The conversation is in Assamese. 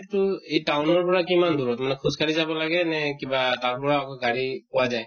তো এই town ৰ পৰা কিমান দূৰত না খোজ কাঢ়ি যাব লাগে নে কিবা তাৰ পৰা আকৌ গাড়ী পোৱা যায়।